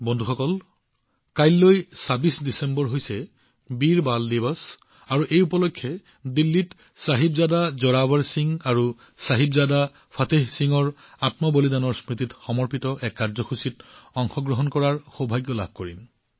বন্ধুসকল কাইলৈ ডিচেম্বৰৰ ২৬ তাৰিখ হৈছে বীৰ বল দিৱস আৰু এই উপলক্ষে দিল্লীত চাহিবজাদা জোৰাৱৰ সিং জী আৰু চাহিবজাদা ফতেহ সিংজীৰ ত্যাগৰ প্ৰতি সমৰ্পিত এক কাৰ্যসূচীত অংশগ্ৰহণ কৰাৰ সৌভাগ্য লাভ কৰিম